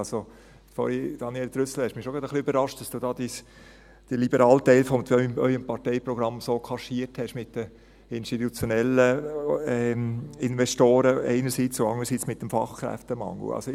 Sie, Daniel Trüssel, haben mich schon ein wenig überrascht, dass Sie da den liberalen Teil Ihres Parteiprogramms so kaschiert haben mit den institutionellen Investoren einerseits und mit dem Fachkräftemangel andererseits.